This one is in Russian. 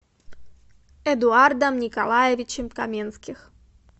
эдуардом николаевичем каменских